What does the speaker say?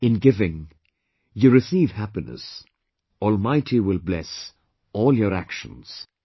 In giving, you receive happiness Almighty will bless, all your actions"